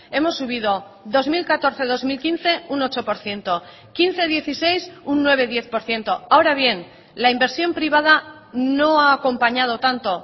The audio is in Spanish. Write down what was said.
hemos subido dos mil catorce dos mil quince un ocho por ciento quince dieciséis un nueve diez por ciento ahora bien la inversión privada no ha acompañado tanto